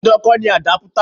Dandan kọ́ ni àdápútà.